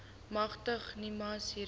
magtig nimas hiermee